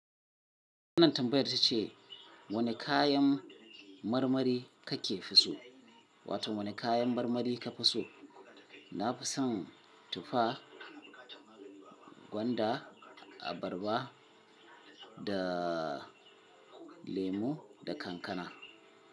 Wannan tambayar ta ce wane kayan marmari kake fi so, wato wane kayan marmari ka fi so? Na fi son tufa, gwanda, abarba da lemo da kankana.